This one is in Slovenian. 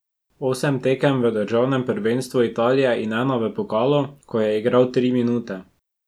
Osem tekem v državnem prvenstvu Italije in ena v pokalu, ko je igral tri minute.